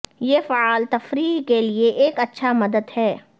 یہ فعال تفریح کے لئے ایک اچھا مدت ہے